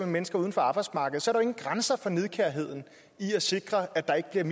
mennesker uden for arbejdsmarkedet jo ingen grænser for nidkærheden i at sikre at der ikke er